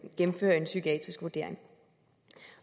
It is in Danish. psykiatrisk vurdering